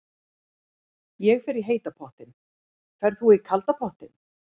Ég fer í heita pottinn. Ferð þú í kalda pottinn?